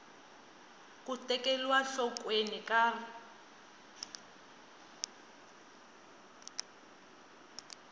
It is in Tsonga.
ku tekeriwa enhlokweni ka r